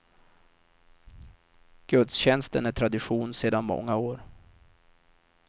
Gudstjänsten är tradition sedan många år.